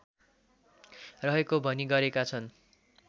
रहेको भनी गरेका छन्